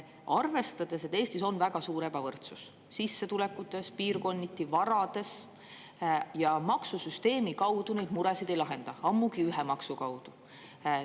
Eestis on piirkonniti väga suur ebavõrdsus sissetulekutes ja üldse varades ning maksusüsteemi kaudu neid muresid ei lahenda, ammugi ühe maksu kaudu.